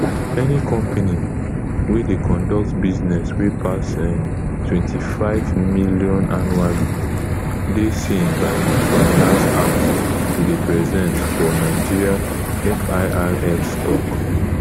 any company wey dey conduct business wey pass ntwenty-five million annually dey seen by di finance act to dey present for nigeria firs tok